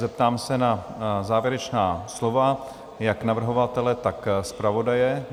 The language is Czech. Zeptám se na závěrečná slova jak navrhovatele, tak zpravodaje?